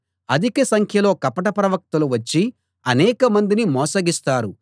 అధిక సంఖ్యలో కపట ప్రవక్తలు వచ్చి అనేకమందిని మోసగిస్తారు